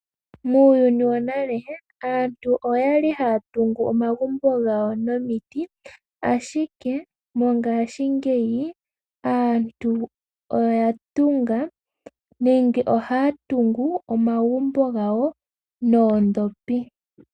Muuyuni wonale aantu oyali haya tungu omagumbo gawo nomiti ashike mongashingeyi aantu oyatunga nenge ohaya tungu omagumbo gawo noodhopi.